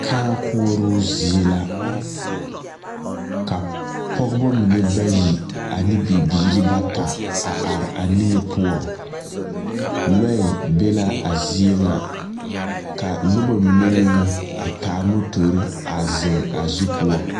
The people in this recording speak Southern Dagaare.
Kãã koͻroo zie la. Ka pͻgebͻ mine bayi ane bibiiri bata a are a niŋe poͻŋ. Lͻԑ be la a zie ŋa ka noba mine meŋ a taa motori a zeŋ a zu poͻ.